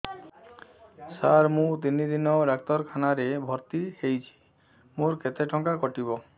ସାର ମୁ ତିନି ଦିନ ଡାକ୍ତରଖାନା ରେ ଭର୍ତି ହେଇଛି ମୋର କେତେ ଟଙ୍କା କଟିବ